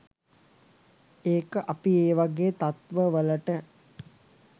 ඒක අපි ඒ වගේ තත්වවලට